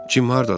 Cim hardadır?